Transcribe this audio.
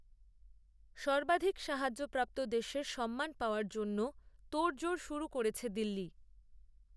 সর্বাধিক সাহায্যপ্রাপ্ত দেশের সম্মান পাওয়ার জন্যও তোড়জোড় শুরু করেছে দিল্লি